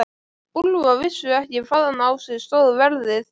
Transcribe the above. Úlfar vissi ekki hvaðan á sig stóð veðrið.